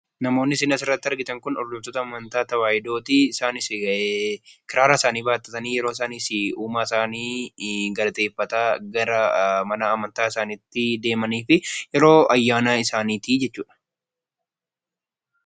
Namoonni as irratti argaman Kun hordoftoo amantaa Tawaayidooti. Isaannis yeroo isaan kiraara isaanii baachuun gara mana amantiitti deemaa jiran kan mul'isuu dha. Innis kan yeroo ayyaana isaaniiti.